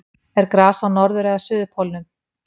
Er gras á norður- eða suðurpólnum?